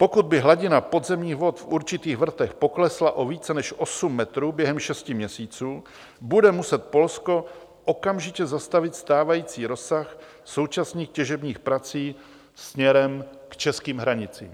Pokud by hladina podzemních vod v určitých vrtech poklesla o více než 8 metrů během šesti měsíců, bude muset Polsko okamžitě zastavit stávající rozsah současných těžebních prací směrem k českým hranicím.